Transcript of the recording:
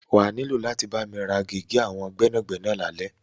Wà á ní láti bámi ra gègé àwọn gbẹ́nàgbẹ́nà lálẹ́.